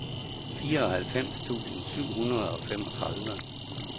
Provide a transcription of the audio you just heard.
fireoghalvfems tusind syv hundrede og femogtredive